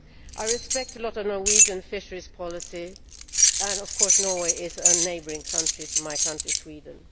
I respect a lot of Norwegian fisheries policies and of course Norway is a neighbouring country to my country, Sweden.